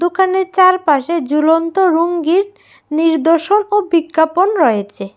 দোকানের চারপাশে জুলন্ত রুঙ্গির নির্দশন ও বিজ্ঞাপন রয়েচে।